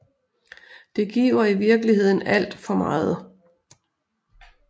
Det giver i virkeligheden alt for meget